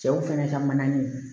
Cɛw fɛnɛ ka mana ni